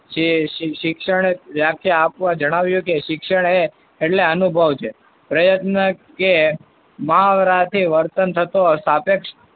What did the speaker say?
જે શિ~શિક્ષણ એ વ્યાખ્યા આપવા જણાવ્યું કે શિક્ષણ એ એટલે અનુભવ છે. પ્રયત્ન કે મહાવરાથી વર્તન થતો સાપેક્ષ,